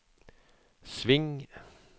sving